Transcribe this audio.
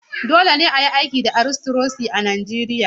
Dole ne a yi aiki da Aristokiresi a Najeriya.